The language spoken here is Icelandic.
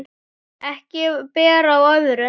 Ekki ber á öðru